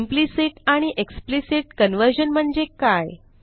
implicit आणि explicit conversion म्हणजे काय